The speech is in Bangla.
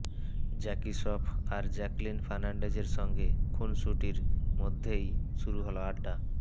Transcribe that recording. জ্যাকি শ্রফ আর জ্যাকেলিন ফার্নান্ডেজের সঙ্গে খুনসুটির মধ্যেই শুরু হল আড্ডা